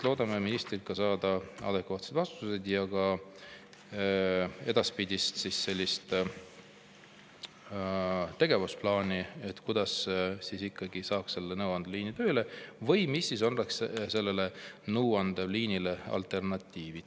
Loodame ministrilt saada adekvaatseid vastuseid ja ka edaspidist tegevusplaani, kuidas ikkagi saaks selle nõuandeliini tööle või mis oleks selle nõuandeliini alternatiiv.